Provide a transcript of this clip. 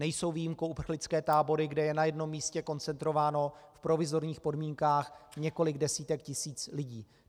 Nejsou výjimkou uprchlické tábory, kde je na jednom místě koncentrováno v provizorních podmínkách několik desítek tisíc lidí.